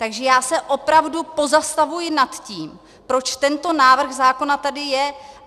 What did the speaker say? Takže já se opravdu pozastavuji nad tím, proč tento návrh zákona tady je.